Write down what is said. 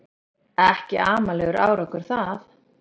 Ekki amalegur árangur það